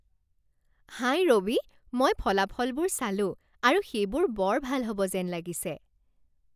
হাই ৰবি, মই ফলাফলবোৰ চালোঁ আৰু সেইবোৰ বৰ ভাল হ'ব যেন লাগিছে৷